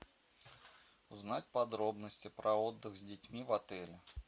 узнать подробности про отдых с детьми в отеле